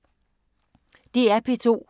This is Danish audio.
DR P2